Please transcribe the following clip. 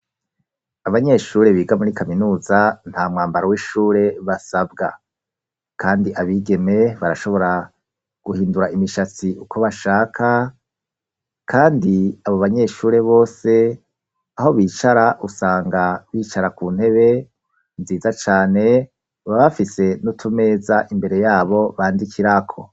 Abanyeshure biga muri kaminuza nta mwambaro w'ishure basabwa kandi abigeme barashobora guhindura imishatsi uko bashaka kandi abo banyeshure bose aho bicara usanga bicara ku ntebe nziza cane baba bafise n'utumeza imbere yabo bandikirako.